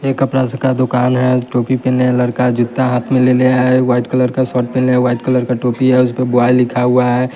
ये कपड़ा सका दुकान है टोपी पेहेने है लड़का जुत्ता हाथ में लेले है वाइट कलर का शर्ट पेहने है वाइट कलर का टोपी है उसपे बॉय लिखा हुआ है।